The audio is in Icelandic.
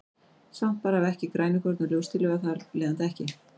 Svampar hafa ekki grænukorn og ljóstillífa þar af leiðandi ekki.